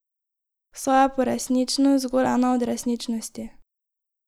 Saj je poresničnost zgolj ena od resničnosti!